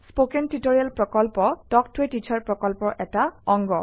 spoken tutorial প্ৰকল্প talk ত a teacher প্ৰকল্পৰ এটা অংগ